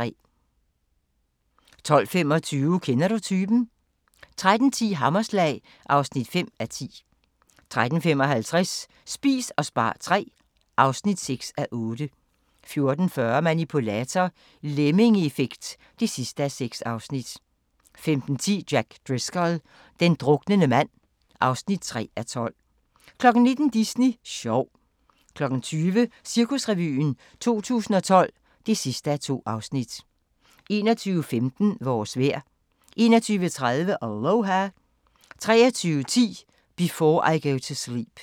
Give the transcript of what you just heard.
12:25: Kender du typen? 13:10: Hammerslag (5:10) 13:55: Spis og spar III (6:8) 14:40: Manipulator – Lemmingeeffekt (6:6) 15:10: Jack Driscoll – den druknende mand (3:12) 19:00: Disney sjov 20:00: Cirkusrevyen 2012 (2:2) 21:15: Vores vejr 21:30: Aloha 23:10: Before I Go to Sleep